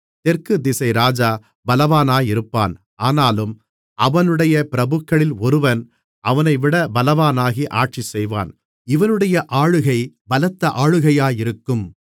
தெற்கு திசை ராஜா பலவானாயிருப்பான் ஆனாலும் அவனுடைய பிரபுக்களில் ஒருவன் அவனைவிட பலவானாகி ஆட்சிசெய்வான் இவனுடைய ஆளுகை பலத்த ஆளுகையாயிருக்கும்